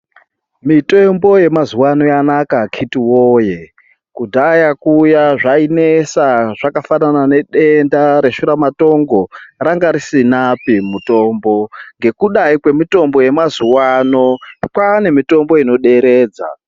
Mitombo yamazuvano Yanaka akiti woye kudhaya kuya zvainetsa zvakafanana nedenda reshuramatongo ranga risinapi mutombo nekuda kwemitombo yamazuvano kwaane mitombo inoderedza.